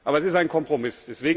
Aber es ist ein Kompromiss.